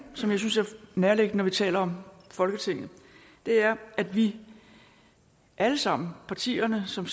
som jeg synes er nærliggende vi taler om folketinget er at vi alle sammen partierne som